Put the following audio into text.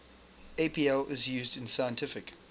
apl is used in scientific